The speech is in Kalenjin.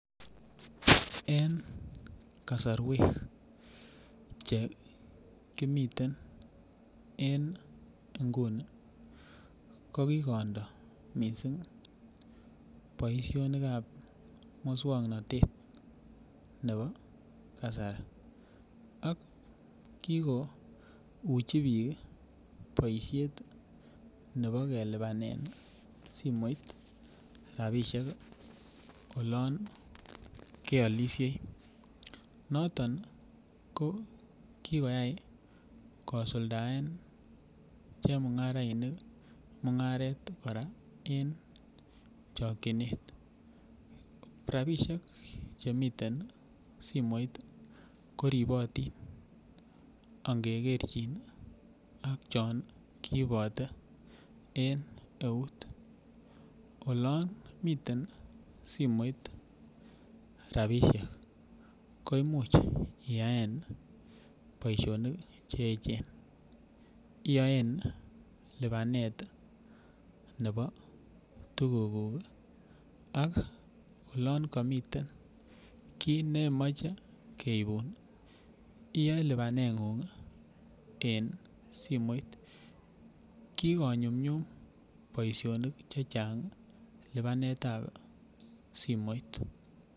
En kasorwek che kimiten en nguni ko kikondoo missing boisionik ab muswongnotet nebo kasari ak kikouchi biik boisiet nebo kelipanen simoit rapisiek olon keolisie noton ko kikoyai kosuldaen chemung'arainik mung'aret en chokyinet, rapisiek chemiten simoit ko ribotin ngekerchin ak chon koibote en eut olon miten simoit rapisiek ko imuch iyaen boisionik cheechen, iyoen lipanet nebo tuguk kuk ih ak olon komiten kiy nemoche keibun iyoe lipanet ng'ung en simoit, kikonyumnyum boisionik chechang lipanet ab simoit